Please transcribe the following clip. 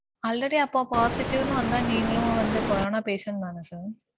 already அப்ப positive னு வந்தா நீங்களும் வந்து corona patient தானே sir.